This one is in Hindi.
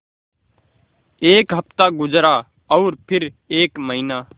एक हफ़्ता गुज़रा और फिर एक महीना